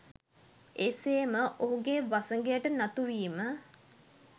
එසේම ඔහුගේ වසඟයට නතු වීම